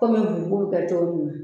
Kɔmi mun b'o kɛ togo munna.